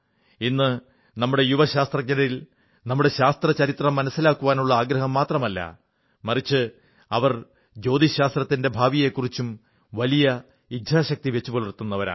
ഇന്നു നമ്മുടെ യുവ ശാസ്ത്രജ്ഞരിൽ നമ്മുടെ ശാസ്ത്രചരിത്രം മനസ്സിലാക്കാനുള്ള ആഗ്രഹം മാത്രമല്ല ഉള്ളത് മറിച്ച് അവർ ജ്യോതിശാസ്ത്രത്തിന്റെ ഭാവിയെക്കുറിച്ചും വലിയ ഇച്ഛാശക്തി വച്ചുപുലർത്തുന്നവരാണ്